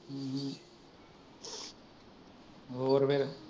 ਹੋਰ ਫੇਰ